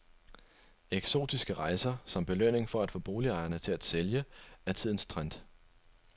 Eksotiske rejser, som belønning for at få boligejere til at sælge, er tidens trend.